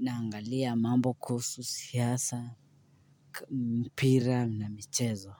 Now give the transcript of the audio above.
naangalia mambo kuhusu siasa mipira na michezo.